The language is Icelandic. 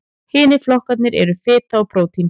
Hinir flokkarnir eru fita og prótín.